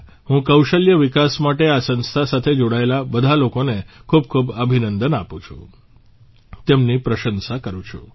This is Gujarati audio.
હું કૌશલ્ય વિકાસ માટે આ સંસ્થા સાથે જોડાયેલા બધા લોકોને ખૂબખૂબ અભિનંદન આપું છું તેમની પ્રશંસા કરું છું